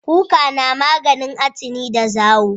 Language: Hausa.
Kuka na maganin atini da zawo